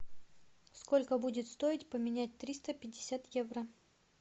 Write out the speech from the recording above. сколько будет стоить поменять триста пятьдесят евро